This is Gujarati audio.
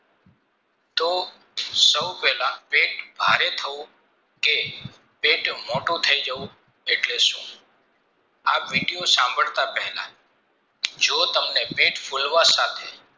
તો સૌ પહેલા પેટ ભારે થવું કે પેટ મોટું થઈ જવું એટલે સુ આ video સંભારતાં પહેલા જો તમને પેટ ફૂલવા સાથે